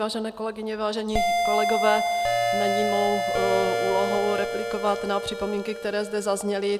Vážené kolegyně, vážení kolegové, není mou úlohou replikovat na připomínky, které zde zazněly.